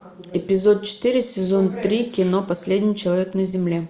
эпизод четыре сезон три кино последний человек на земле